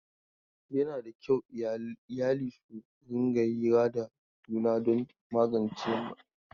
Yana da kyau iyali su rinƙa hira da juna don magance matsalolinsu.